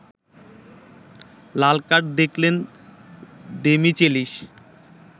লালকার্ড দেখলেন দেমিচেলিস